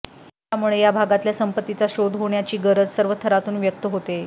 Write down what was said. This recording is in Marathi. त्यामुळे या भागातल्या संपत्तीचा शोध होण्याची गरज सर्व थरातून व्यक्त होतेय